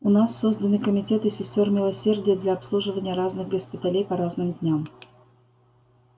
у нас созданы комитеты сестёр милосердия для обслуживания разных госпиталей по разным дням